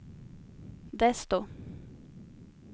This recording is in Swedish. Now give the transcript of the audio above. desto